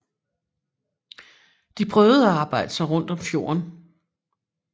De prøvede at arbejde sig rundt om fjorden